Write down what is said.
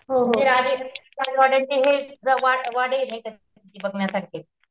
वाडेये नाहीका तिथे बघण्यासारखे.